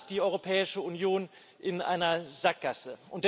Auch da ist die Europäische Union in einer Sackgasse.